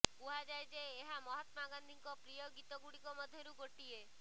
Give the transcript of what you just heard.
କୁହାଯାଏ ଯେ ଏହା ମହାତ୍ମା ଗାନ୍ଧିଙ୍କ ପ୍ରିୟ ଗୀତ ଗୁଡ଼ିକ ମଧ୍ୟରୁ ଗୋଟିଏ